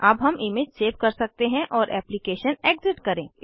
अब हम image save कर सकते हैं और एप्लीकेशन एग्ज़िट करें